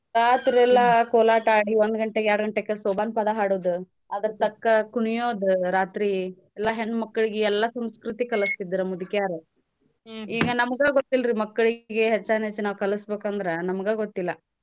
ರಾತ್ರೆಲ್ಲಾ ಕೋಲಾಟ ಆಡಿ ಒಂದ್ ಗಂಟೆಗ್ ಎರ್ಡ್ ಗಂಟೆಕ್ ಸೋಬಾನ್ ಪದಾ ಹಾಡೋದ ಅದ್ರ್ ತಕ್ಕ ಕುಣಿಯೋದ ರಾತ್ರೀ ಎಲ್ಲಾ ಹೆಣ್ಮಕ್ಕಳ್ಗೆ ಎಲ್ಲಾ ಸಂಸ್ಕೃತಿ ಕಲ್ಸ್ತಿದ್ರ ಮುದಕ್ಯಾರು ಈಗ ನಮ್ಗಾ ಗೊತ್ತಿಲ್ರಿ ಮಕ್ಕಳಿಗೆ ಹೆಚ್ಚಾನ್ ಹೆಚ್ ಕಲ್ಸ್ಬಕಂದ್ರ ನಮ್ಗಾ ಗೊತ್ತಿಲ್ಲ.